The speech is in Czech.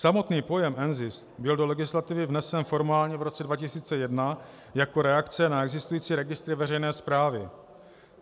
Samotný pojem NZIS byl do legislativy vnesen formálně v roce 2001 jako reakce na existující registry veřejné správy.